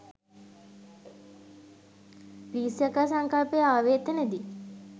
grease යකා සංකල්පය ආවේ එතැනදි